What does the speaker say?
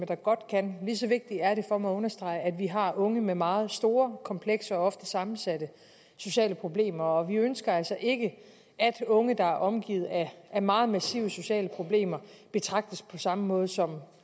der godt kan lige så vigtigt er det for mig at understrege at vi har unge med meget store komplekse og ofte sammensatte sociale problemer og vi ønsker altså ikke at unge der er omgivet af meget massive sociale problemer betragtes på samme måde som